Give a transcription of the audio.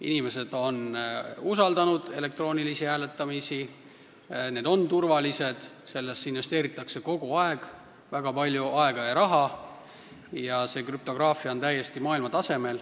Inimesed on usaldanud elektroonilist hääletamist, see on turvaline, sellesse investeeritakse väga palju aega ja raha ning krüptograafia on täiesti maailmatasemel.